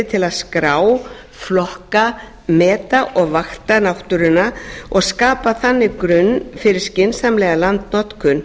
til að skrá flokka meta og vakta náttúruna og skapa þannig grunn fyrir skynsamlega landnotkun